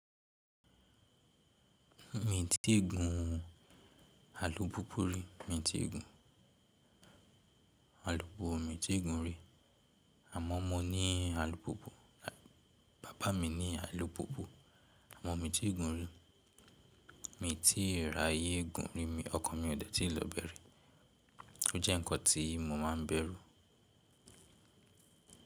Mi tí ì gùn àlùpùpù rí, mi ti ì gùn àlùpùpù, mi ti ì gùn rí. Àmọ́ mo ní àlùpùpù, bàbá mi ní àlùpùpù, àmọ́ mi ti ì gùn rí. Mi ti rí ayé gùn rí, ọkàn mi ò dẹ́tì lọ bẹ̀ri, ó jẹ́ ǹkan tí mo máa ń bẹ̀rù.